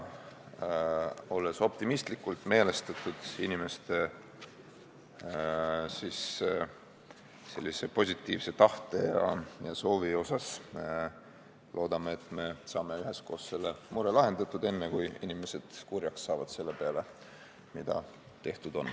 Olles optimistlikult meelestatud inimeste positiivse tahte ja soovi suhtes, loodame, et me saame üheskoos selle mure lahendatud enne, kui inimesed kurjaks saavad selle peale, mis juba tehtud on.